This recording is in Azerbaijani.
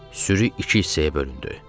Sürü iki hissəyə bölündü.